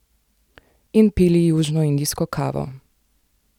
In pili južnoindijsko kavo.